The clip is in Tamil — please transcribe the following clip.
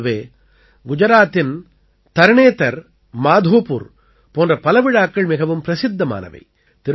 இதைப் போலவே குஜராத்தின் தர்ணேதர் மாதோபூர் போன்ற பல விழாக்கள் மிகவும் பிரசித்தமானவை